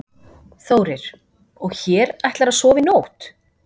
Þórir: Og hér ætlarðu að sofa í nótt?